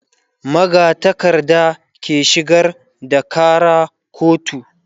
magatakarda ke shigar da Kara kotu